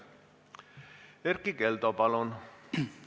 Erkki Keldo, palun!